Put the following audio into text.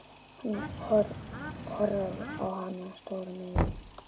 Horfði á hana stórum augum.